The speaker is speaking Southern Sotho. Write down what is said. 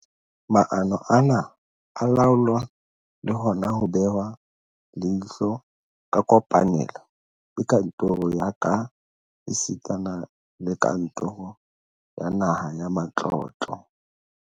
Maano ana a laolwa le hona ho behwa leihlo ka kopanelo ke kantoro ya ka esitana le kantoro ya Naha ya Matlotlo.